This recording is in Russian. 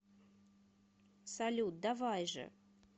салют давай же